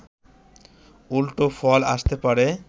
উল্টো ফল আসতে পারে